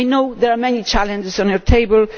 I know there are many challenges on your table.